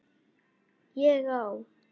ÉG Á